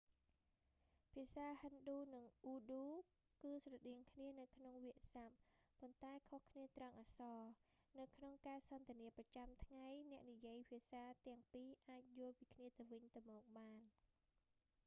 ភាសាហិណ្ឌូ និងអ៊ូឌូ គឺស្រដៀងគ្នានៅក្នុងវាក្យស័ព្ទ ប៉ុន្តែខុសគ្នាត្រង់អក្សរ នៅក្នុងការសន្ទនាប្រចាំថ្ងៃអ្នកនិយាយភាសាទាំងពីរអាចយល់ពីគ្នាទៅវិញទៅមកបាន